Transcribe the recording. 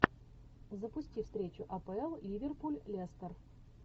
запусти встречу апл ливерпуль лестер